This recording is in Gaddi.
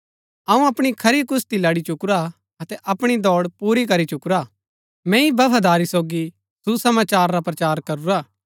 अऊँ अपणी खरी कुश्‍ती लड़ी चुकुरा अतै अपणी दौड़ पूरी करी चुकुरा मैंई बफादारी सोगी सुसमाचार रा प्रचार करूरा